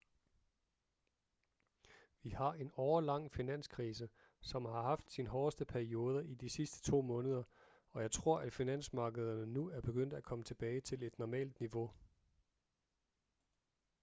vi har en årelang finanskrise som har haft sin hårdeste periode i de sidste to måneder og jeg tror at finansmarkederne nu er begyndt at komme tilbage til et normalt niveau